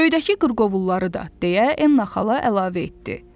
Göydəki qırqovulları da, deyə Enna xala əlavə etdi.